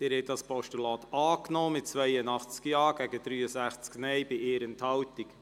Sie haben den Vorstoss als Postulat angenommen mit 82 Ja-, bei 63 Nein-Stimmen und 1 Enthaltung.